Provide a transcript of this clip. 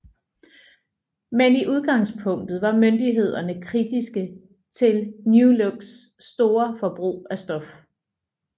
Men i udgangspunktet var myndighederne kritiske til new looks store forbrug af stof